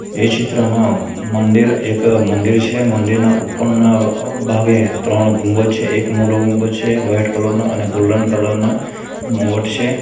એ ચિત્રમાં મંદિર એક મંદિર છે મંદિરના ઉપરના અ ભાગે ત્રણ ગુંબજ છે એક મોટો ગુંબજ છે વ્હાઈટ કલર નો અને ગોલ્ડન કલર ના મુગટ છે.